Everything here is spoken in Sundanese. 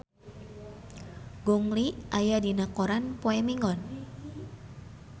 Gong Li aya dina koran poe Minggon